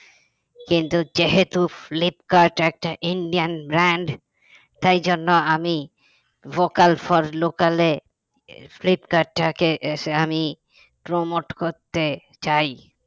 কিন্তু যেহেতু ফ্লিপকার্ট একটা Indian brand তাই জন্য আমি vocal for local এ ফ্লিপকার্টটাকে আমি promote করতে চাই